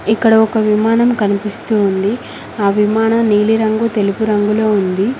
ఇక్కడ ఒక విమానం కనిపిస్తూ ఉంది ఆ విమానం నీలిరంగు తెలుపు రంగులో ఉంది.